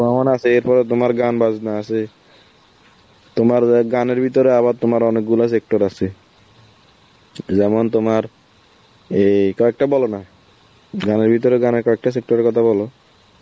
ভ্রমণ আছে, এরপরে তোমার গান বাজনা আছে. তোমার যায়~ গানের ভিতরে আবার তোমার অনেকগুলা sector আছে. যে~ যেমন তোমার অ্যাঁ কয়েকটা বলো না, গানের ভিতরে গানের কয়েকটা sector এর কথা বলো.